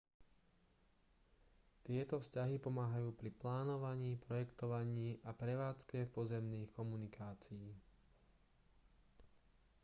tieto vzťahy pomáhajú pri plánovaní projektovaní a prevádzke pozemných komunikácií